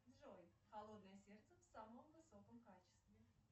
джой холодное сердце в самом высоком качестве